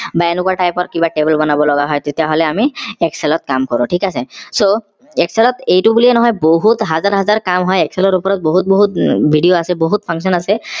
বা এনেকুৱা type ৰ কিবা table বনাব লগা হয় তেতিয়া হলে আমি excel ত কাম কৰো ঠিক আছে so excel ত এইটো বুলিয়েই নহয় বহুত হাজাৰ হাজাৰ কাম হয় excel ৰ ওপৰত বহুত বহুত উম video আছে বহুত function আছে